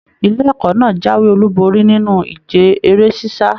Ilé ẹ̀kọ́ náà jáwé olú borí nínú ìje eré sisa.